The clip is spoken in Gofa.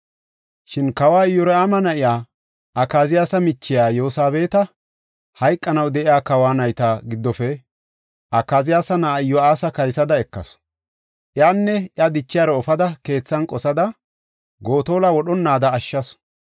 Shin kawa Iyoraama na7iya, Akaziyaasa michiya Yosabeeta, hayqanaw de7iya kawa nayta giddofe Akaziyaasa na7aa Iyo7aasa kaysada ekasu. Iyanne iya dichiyaro efada keethan qosada, Gotolo wodhonnaada ashshasu.